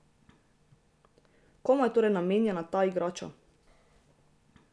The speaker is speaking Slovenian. Komu je torej namenjena ta igrača?